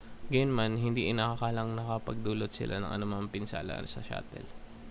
gayunman hindi inaakalang nakapagdulot sila ng anumang pinsala sa shuttle